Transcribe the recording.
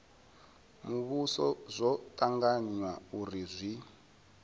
muvhuso zwo tanganywa uri zwi